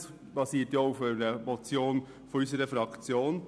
Das basiert auch auf einer Motion unserer Fraktion.